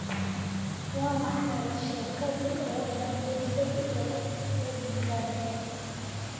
waa maxay sheekadii ugu dambeysay ee edie gathie